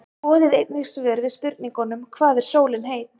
Skoðið einnig svör við spurningunum: Hvað er sólin heit?